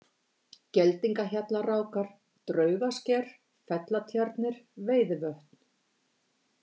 Geldingahjallarákar, Draugssker, Fellatjarnir, Veiðivötn